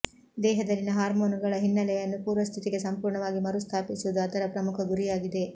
ದೇಹದಲ್ಲಿನ ಹಾರ್ಮೋನುಗಳ ಹಿನ್ನೆಲೆಯನ್ನು ಪೂರ್ವಸ್ಥಿತಿಗೆ ಸಂಪೂರ್ಣವಾಗಿ ಮರುಸ್ಥಾಪಿಸುವುದು ಅದರ ಪ್ರಮುಖ ಗುರಿಯಾಗಿದೆ